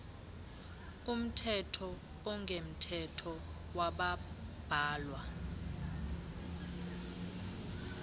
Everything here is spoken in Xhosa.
omthetho ongemthetho wabambalwa